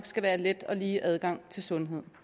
skal være let og lige adgang til sundhed